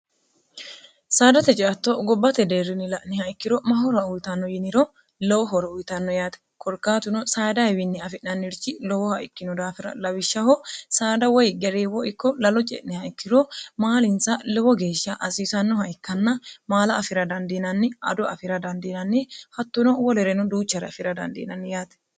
saadate ceatto gobbate deerrini la'niha ikkiro mahora uyitanno yiniro lowo horo uyitanno yaate korkaatuno saadaawiinni afi'nannirchi lowoha ikkino daafira lawishshaho saada woy gereewo ikko lalo ce'niha ikkiro maalinsa lowo geeshsha asiisannoha ikkanna maala afira dandiinanni ado afira dandiinanni hattuno wolereno duuchare afira dandiinanni yaate